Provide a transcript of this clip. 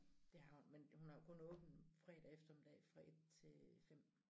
Det har hun men hun har jo kun åbent fredag eftermiddag fra 1 til 5